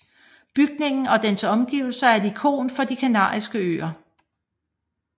Bygningen og dens omgivelser er et ikon for De Kanariske Øer